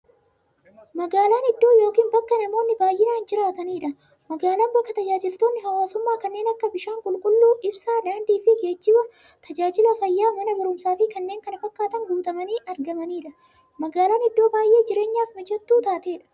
Magaalan iddoo yookiin bakka namoonni baay'inaan jiraataniidha. Magaalan bakka taajajilootni hawwaasummaa kanneen akka; bishaan qulqulluu, ibsaa, daandiifi geejjiba, taajajila fayyaa, Mana baruumsaafi kanneen kana fakkatan guutamanii argamaniidha. Magaalan iddoo baay'ee jireenyaf mijattuu taateedha.